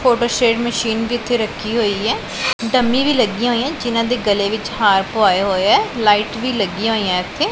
Photostat machine ਵੀ ਇੱਥੇ ਰੱਖੀ ਹੋਈ ਹੈ ਡੰਮੀ ਵੀ ਲੱਗੀਆਂ ਹੋਈਆਂ ਜਿਨਾਂ ਦੇ ਗਲੇ ਵਿੱਚ ਹਾਰ ਪਵਾਏ ਹੋਏ ਐ ਲਾਈਟ ਵੀ ਲੱਗੀਆਂ ਹੋਈਆਂ ਇੱਥੇ।